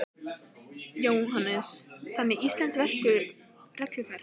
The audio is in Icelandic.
Jóhannes: Þannig að íslenskt regluverk fer ekki í íslenska kúrinn?